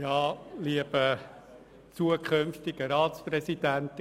Ja, lieber zukünftiger Ratspräsident.